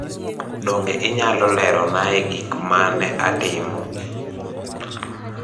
Donge inyalo leronae gik ma ne atimo?